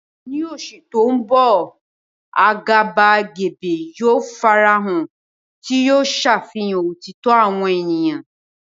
Ní oṣù tó ń bọ̀, àgàbàgebè yóò farahàn, tí yóò ṣàfihàn òtítọ́ àwọn ènìyàn.